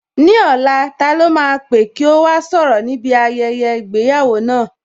Ní ọ̀la, ta lọ́ máa pè kí ó wá sọ̀rọ̀ níbi ayẹyẹ ìgbéyàwó náà?